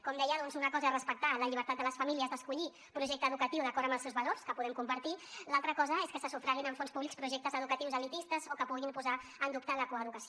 com deia doncs una cosa és respectar la llibertat de les famílies d’escollir projecte educatiu d’acord amb els seus valors que ho podem compartir l’altra cosa és que se sufraguin amb fons públics projectes educatius elitistes o que puguin posar en dubte la coeducació